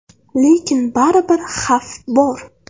Lekin baribir xavf bor.